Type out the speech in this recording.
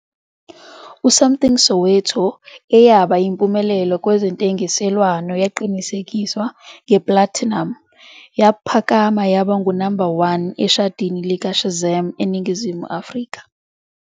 uSamthing Soweto, eyaba yimpumelelo kwezentengiselwano, yaqinisekiswa ngeplathinamu, yaphakama yaba ngu-number 1 eshadini likaShazam eNingizimu Afrika.